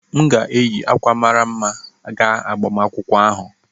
M ga-eyi akwa mara mma gaa agbamakwụkwọ ahụ